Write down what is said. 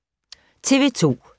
TV 2